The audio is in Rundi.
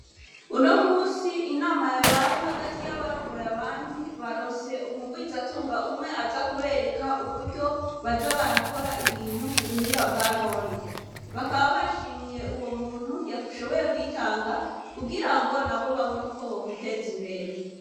Uno munsi inama yabaye hagati yabarongoye abandi baronse umurwizatunga umwe aza kubereka uburyo baza barakora ibintu kubuhinga bwanone, bakaba bashimiye uwo muntu yashoboye kwitanga kugirango nabo babone uko bokwiteza imbere.